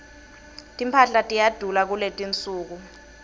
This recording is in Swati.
timphahla tiyadula kuletinsuku